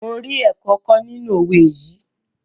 Mo rí ẹ̀kọ́ kọ́ nínú owé yìí.